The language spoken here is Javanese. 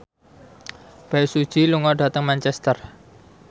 Bae Su Ji lunga dhateng Manchester